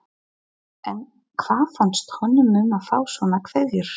En hvað fannst honum um að fá svona kveðjur?